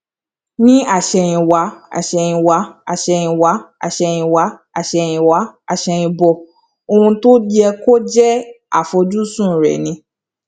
ní àsèyìnwá àsèyìnwá àsèyìnwá àsèyìnwá àsèyìnwá àsèyìnbò ohun tó yẹ kó jẹ àfojúsùn rè ni